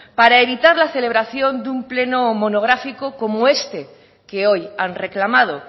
para evitar la celebración de un pleno monográfico como este que hoy han reclamado